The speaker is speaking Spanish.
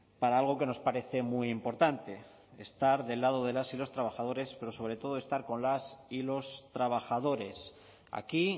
para algo que nos parece muy importante estar del lado de las y los trabajadores pero sobre todo estar con las y los trabajadores aquí